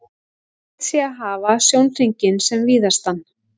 Reynt sé að hafa sjónhringinn sem víðastan.